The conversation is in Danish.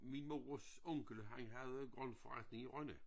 Min mors onkel han havde grøntforretning i Rønne